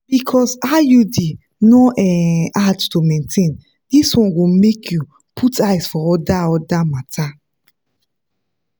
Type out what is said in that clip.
because iud no um hard to maintain this one go make you put eyes for other other matters.